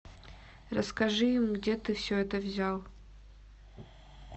расскажи им где ты все это взял